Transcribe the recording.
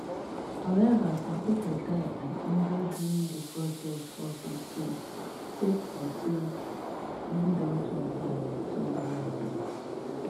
however some pipo die and injure during di protest for some states sake of say e don turn violent turn violent